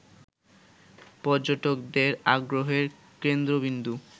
পর্যটকদের আগ্রহের কেন্দ্রবিন্দু